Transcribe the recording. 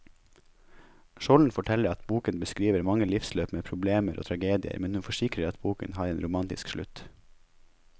Skjolden forteller at boken beskriver mange livsløp med problemer og tragedier, men hun forsikrer at boken har en romantisk slutt.